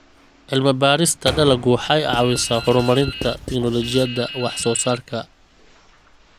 Cilmi-baarista dalaggu waxay caawisaa horumarinta tignoolajiyada wax-soo-saarka.